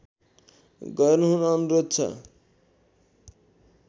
गर्नुहुन अनुरोध छ